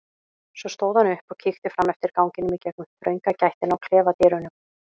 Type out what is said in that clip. Svo stóð hann upp og kíkti fram eftir ganginum í gegnum þrönga gættina á klefadyrunum.